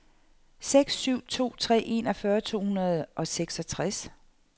seks syv to tre enogfyrre to hundrede og seksogtres